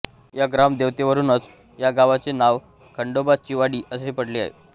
या ग्राम देवतेवरूनच या गावाचे नाव खंडोबाचीवाडी असे पडले आहे